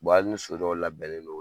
Wa hali ni so dɔw labɛnnen don